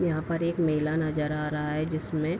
यहाँ पर एक मेला नजर आ रहा है जिसमें --